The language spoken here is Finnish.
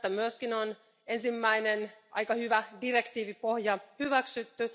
Tästä myöskin on ensimmäinen aika hyvä direktiivipohja hyväksytty.